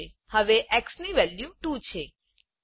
હવે xની વેલ્યુ 2છે